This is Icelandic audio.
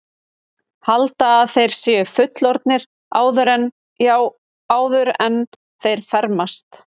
Halda að þeir séu fullorðnir áður en, já, áður en þeir fermast.